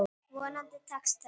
Vonandi tekst það.